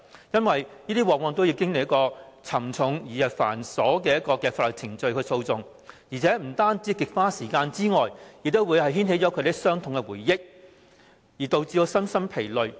因為這樣做往往要經歷沉重而繁瑣的法律程序或訴訟，不單極花時間，亦會牽起他們的傷痛回憶，導致身心疲累。